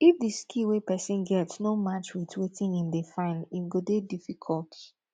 if di skill wey persin get no match with wetin im de find im go de difficult